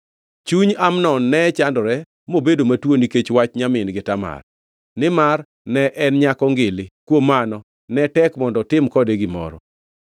Chuny Amnon ne chandore mobedo matuo nikech wach nyamin-gi Tamar, nimar ne en nyako ngili, kuom mano ne tek mondo otim kode gimoro.